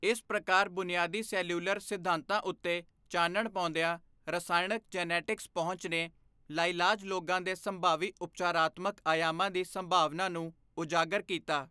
ਇਸ ਪ੍ਰਕਾਰ ਬੁਨਿਆਦੀ ਸੈਲਿਊਲਰ ਸਿਧਾਂਤਾਂ ਉੱਤੇ ਚਾਨਣ ਪਾਉਂਦਿਆਂ ਰਸਾਇਣਕ ਜੀਨੈਟਿਕਸ ਪਹੁੰਚ ਨੇ ਲਾਇਲਾਜ ਰੋਗਾਂ ਦੇ ਸੰਭਾਵੀ ਉਪਚਾਰਾਤਮਕ ਆਯਾਮਾਂ ਦੀ ਸੰਭਾਵਨਾ ਨੂੰ ਉਜਾਗਰ ਕੀਤਾ।